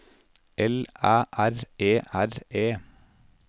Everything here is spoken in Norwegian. L Æ R E R E